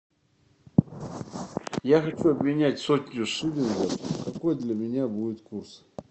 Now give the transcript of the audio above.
я хочу обменять сотню шиллингов какой для меня будет курс